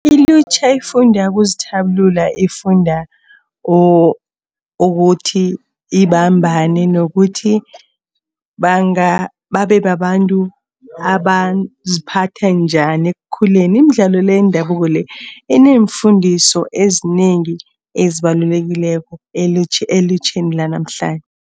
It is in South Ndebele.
Ilutjha lifunda ukuzithabulula, lifunda ukuthi babambane nokuthi babe babantu abaziphatha njani ekukhuleni. Imidlalo le yendabuko le, ineemfundiso ezinengi ezibalulekileko elutjheni lanamhlanje.